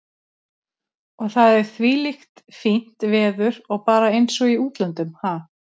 Og það er þvílíkt fínt veður og bara eins og í útlöndum, ha?